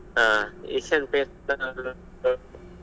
ಹಾ Asian Paints .